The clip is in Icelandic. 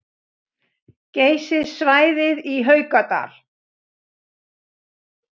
Geysissvæðið í Haukadal